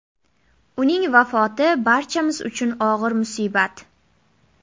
Uning vafoti – barchamiz uchun og‘ir musibat.